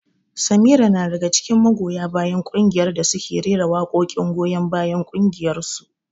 Samira na daga cikin magoya bayan kungiyar da suke rera waƙoƙin goyon bayan ƙungiyarsu.